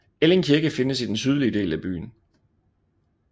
Elling Kirke findes i den sydlige del af byen